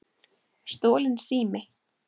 Stolinn sími